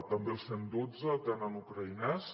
també el cent i dotze atén en ucraïnès